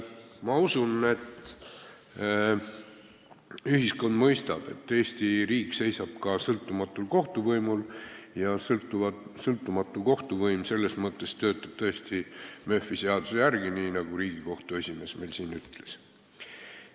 Ma usun, et ühiskond mõistab, et Eesti riik seisab ka sõltumatul kohtuvõimul ja sõltumatu kohtuvõim selles mõttes töötab tõesti Murphy seaduse järgi, nagu Riigikohtu esimees meile siin ütles.